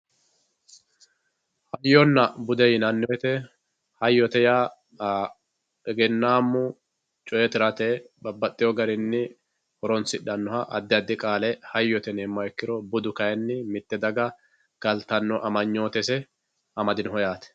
Hayyonna budde yinani woyite hayyote yaa eggenamu coye tirate baxxeewo garinni horonsidhanoha adi adi qaale hayyote yineemoha ikkiro budu kayinni mite daga galitano amanyootese amadinoho yaate